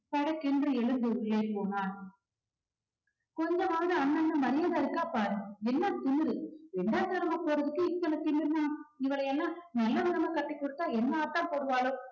படக்கென்று எழுந்து உள்ளே போனாள் கொஞ்சமாவது அண்ணன்னு மரியாதை இருக்கா பாரு என்ன திமிரு ரெண்டாந்தாரமா போறதுக்கு இத்தனை திமிருன்னா இவள எல்லாம் நல்லவிதமா கட்டிக் கொடுத்தா என்ன ஆட்டம் போடுவாளோ